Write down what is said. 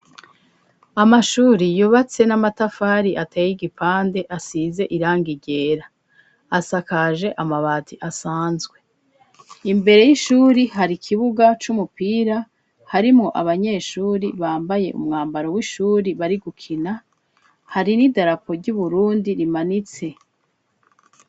Amashuri, yubatse n'amatafari, ateye igipande, asize irangi ryera, asakaje amabati asanzwe; imbere y'ishuri, hari ikibuga c'umupira, harimwo abanyeshuri, bambaye umwambaro w'ishuri, bari gukina; hari n'idarapo ry'Uburundi rimanitse.